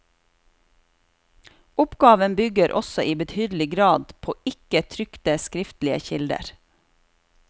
Oppgaven bygger også i betydelig grad på ikke trykte skriftlige kilder.